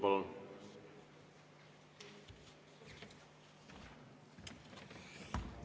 Palun!